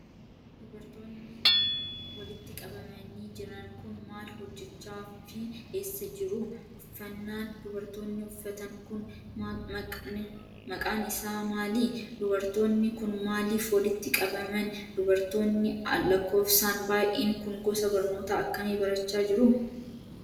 Dubartoonni walitti qabamanii jiran kun maal hojjachaa fi eessa jiru? Uffannaan dubartoonni uffatan kun, maqqn isaa maali? Dubartoonni kun, maaliif walitti qabaman? Dubartoonni lakkoofsaan baay'een kun gosa barnootaa akkamii barachaa jiru?